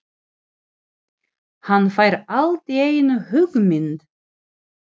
Hann fær allt í einu hugmynd.